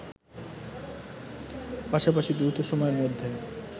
পাশাপাশি দ্রুত সময়ের মধ্যে